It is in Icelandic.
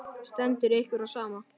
Stendur ykkur á sama?